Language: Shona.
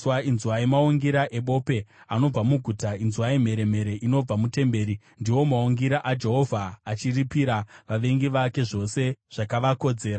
Inzwai maungira ebope anobva muguta, inzwai mheremhere inobva mutemberi! Ndiwo maungira aJehovha achiripira vavengi vake zvose zvakavakodzera.